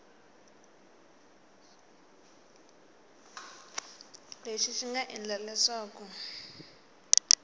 lexi xi nga endla leswaku